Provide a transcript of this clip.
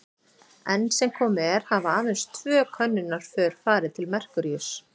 Enn sem komið er hafa aðeins tvö könnunarför farið til Merkúríuss.